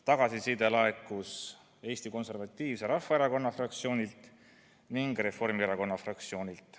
Tagasiside laekus Eesti Konservatiivse Rahvaerakonna fraktsioonilt ning Reformierakonna fraktsioonilt.